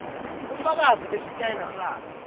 bufakazi besitayela sakhe